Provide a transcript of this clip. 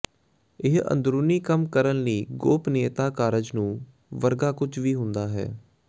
ਇਹ ਅੰਦਰੂਨੀ ਕੰਮ ਕਰਨ ਲਈ ਗੋਪਨੀਯਤਾ ਕਾਰਜ ਨੂੰ ਵਰਗਾ ਕੁਝ ਵੀ ਹੁੰਦਾ ਹੈ